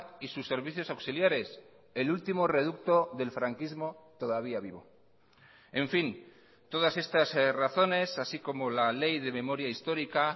y sus servicios auxiliares el último reducto del franquismo todavía vivo en fin todas estas razones así como la ley de memoria histórica